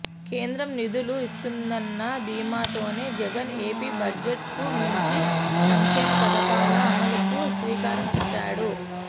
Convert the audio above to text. కేంద్రం నిధులు ఇస్తుందన్న ధీమాతోనే జగన్ ఏపీ బడ్జెట్ కు మించి సంక్షేమ పథకాల అమలుకు శ్రీకారం చుట్టాడు